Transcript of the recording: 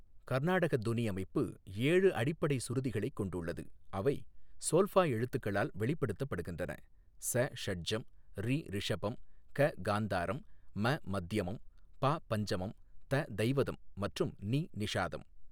கர்நாடக தொணிஅமைப்பு ஏழு அடிப்படை சுருதிகளைக் கொண்டுள்ளது, அவை சோல்ஃபா எழுத்துக்களால் வெளிப்படுத்தப்படுகின்றன, ஸ ஷட்ஜம், ரி ரிஷபம், க காந்தாரம், ம மத்யமம், பா பஞ்சமம், த தைவதம் மற்றும் நி நிஷாதம்.